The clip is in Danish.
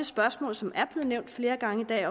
spørgsmål som er blevet nævnt flere gange i dag